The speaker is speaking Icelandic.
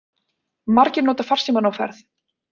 Margir nota farsímann á ferð